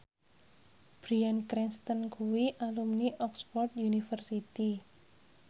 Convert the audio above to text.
Bryan Cranston kuwi alumni Oxford university